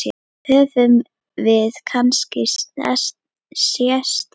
Höfum við kannski sést áður?